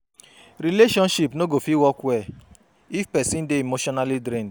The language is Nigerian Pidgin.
Relationship no go fit work well if pesin dey emotionally drained